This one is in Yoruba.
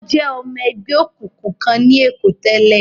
Ó jẹ́ ọmọ ẹgbẹ́ òkùnkùn kan ní Èkó tẹ́lẹ̀.